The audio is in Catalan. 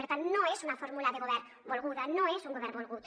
per tant no és una fórmula de govern volguda no és un govern volgut